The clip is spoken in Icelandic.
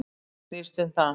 Þetta snýst um það.